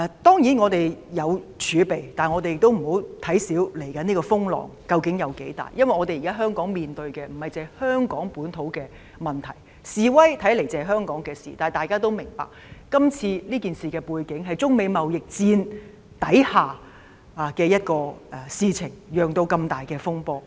當然，我們有儲備，但也不能輕視未來的風浪究竟有多大，因為現時香港面對的不單是香港本土的問題，示威看似只是香港的事情，但大家也明白今次這事件是在中美貿易戰之下發生，然後釀成這麼大的風波。